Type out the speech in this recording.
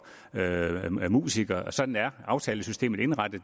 musikere sådan er aftalesystemet indrettet